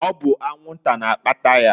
Ọ bụ anwu-nta na-akpata ya.